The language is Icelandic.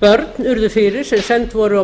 börn urðu fyrir sem send voru á